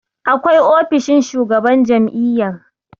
akwai ofishin shugaban jami'yar